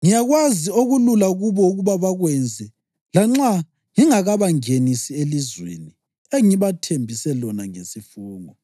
Ngiyakwazi okulula kubo ukuba bakwenze, lanxa ngingakabangenisi elizweni engibathembise lona ngesifungo.”